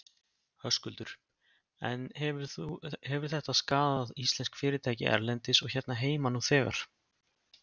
Höskuldur: En hefur þetta skaðað íslensk fyrirtæki erlendis og hérna heima nú þegar?